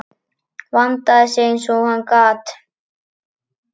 Vandaði sig eins og hann gat.